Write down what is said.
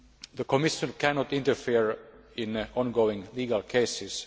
The Commission cannot interfere in ongoing legal cases.